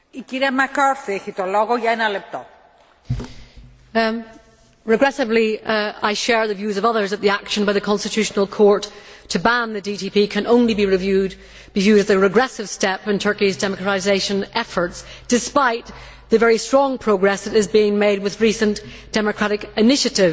Madam President, regrettably I share the views of others that the action by the Constitutional Court to ban the DTP can only be viewed as a regressive step in Turkey's democratisation efforts, despite the very strong progress that is being made with recent democratic initiatives.